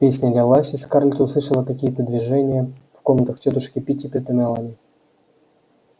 песня лилась и скарлетт услышала какие-то движение в комнатах тётушки питтипэт и мелани